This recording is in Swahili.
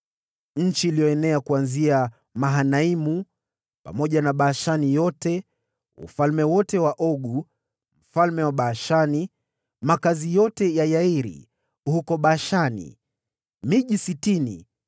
Eneo lililoenea kuanzia Mahanaimu, na kujumlisha Bashani yote, ufalme wote wa Ogu mfalme wa Bashani, makazi yote ya Yairi huko Bashani, miji sitini,